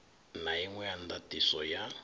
na inwe ya ndatiso ya